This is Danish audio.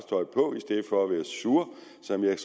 tredive